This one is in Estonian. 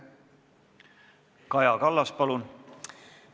Kaja Kallas, palun!